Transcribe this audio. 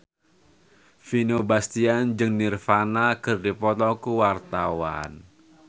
Vino Bastian jeung Nirvana keur dipoto ku wartawan